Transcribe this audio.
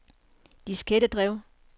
diskettedrev